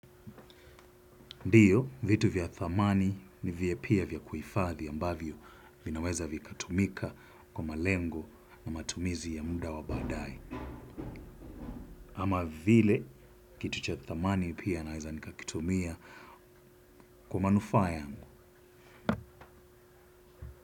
Ndio, vitu vya dhamani ni vya pia vya kuhifadhi ambavyo vinaweza vikatumika kwa malengo na matumizi ya muda wa baadae. Ama vile, kitu cha dhamani pia naweza nikakitumia kwa manufaa yangu.